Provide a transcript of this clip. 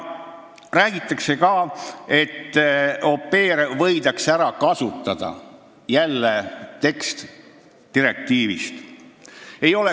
Räägitakse ka sellest, et au pair'e võidakse ära kasutada – jälle tekst direktiivist.